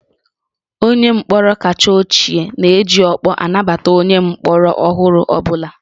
Onye mkpọrọ kacha ochie na-eji ọkpọ anabata onye mkpọrọ ọhụrụ ọ bụla